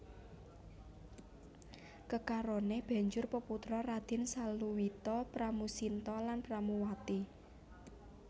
Kekarone banjur peputra Raden Saluwita Pramusinta lan Pramuwati